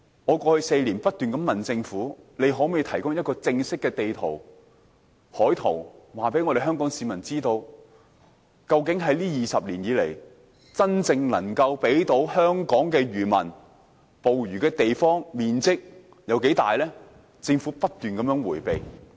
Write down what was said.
我過去4年不斷問政府，可否提供正式的海岸地圖，告訴香港市民究竟在這20年以來，真正能夠讓漁民捕魚的水域面積有多大，但政府不斷迴避。